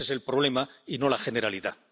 Ese es el problema y no la generalidad.